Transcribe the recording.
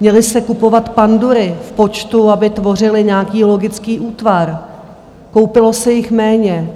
Měly se kupovat pandury v počtu, aby tvořily nějaký logický útvar, koupilo se jich méně.